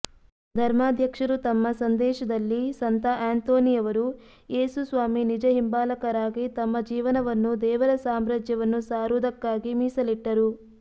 ಧರ್ಮಾಧ್ಯಕ್ಷರು ತಮ್ಮ ಸಂದೇಶದಲ್ಲಿ ಸಂತ ಆಂತೋನಿಯವರು ಯೇಸು ಸ್ವಾಮಿ ನಿಜ ಹಿಂಬಾಲಕರಾಗಿ ತಮ್ಮ ಜೀವನವನ್ನು ದೇವರ ಸಾಮ್ರಾಜ್ಯವನ್ನು ಸಾರುವುದಕ್ಕಾಗಿ ಮೀಸಲಿಟ್ಟರು